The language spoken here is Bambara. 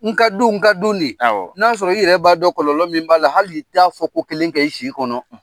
N ka du, n ka du nin, n'a y'a sɔrɔ, i yɛrɛ b'a dɔn kɔlɔlɔ min b'a la, hali t'a fɔ ko kelen kɛ i si kɔnɔ